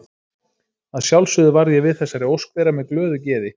Að sjálfsögðu varð ég við þessari ósk þeirra með glöðu geði.